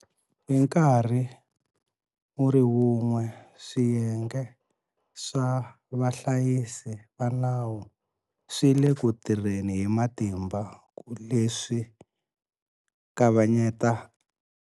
Hi nkarhi wu ri wun'we, swiyenge swa vahlayisi va nawu swi le ku tirheni hi matimba ku leswi kavanyeta.